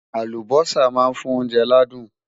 Àlùbósà má ń fún oúnjẹ ládùn